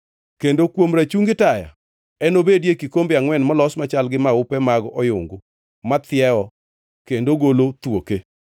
Kendo kuom rachungi taya enobedie kikombe angʼwen molos machal gi maupe mag oyungu mathiewo kendo golo thuoke.